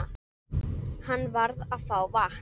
Hann varð að fá vatn.